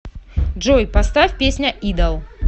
джой поставь песня идол